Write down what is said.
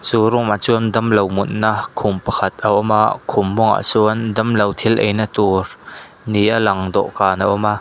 chu room ah chuan damlo mutna khum pakhat a awm a khum mawngah chuan damlo thil eina tur ni a lang dawhkan a awm a.